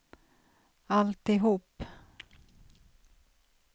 alltihop